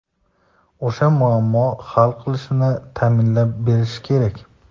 o‘sha muammo hal qilinishini ta’minlab berishi kerak!.